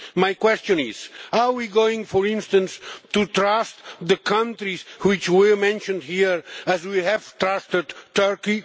My question is are we going, for instance, to trust the countries which were mentioned here as we have trusted Turkey?